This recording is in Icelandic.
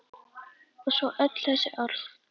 Og svo öll þessi orð.